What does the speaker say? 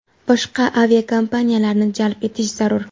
boshqa aviakompaniyalarni jalb etish zarur.